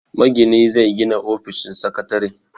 Magini zai gina ofishin sakatare.